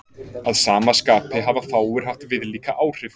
Að sama skapi hafa fáir haft viðlíka áhrif.